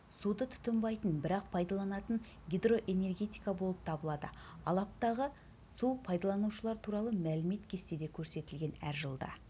суды тұтынбайтын бірақ пайдаланатын гидроэнергетика болып табылады алаптағы су пайдаланушылар туралы мәлімет кестеде көрсетілген әр жылда